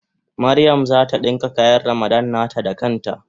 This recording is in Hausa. Mariam zata dinka kayan Ramadan nata da kan ta.